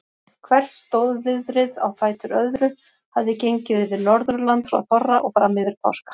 Hvert stórviðrið á fætur öðru hafði gengið yfir Norðurland frá þorra og fram yfir páska.